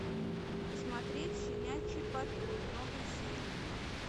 посмотреть щенячий патруль новые серии